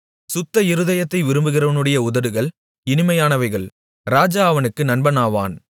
சுத்த இருதயத்தை விரும்புகிறவனுடைய உதடுகள் இனிமையானவைகள் ராஜா அவனுக்கு நண்பனாவான்